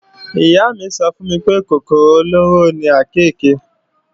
Ìyá mí sọ fún mi pé kòkòrò olóró ni àkééke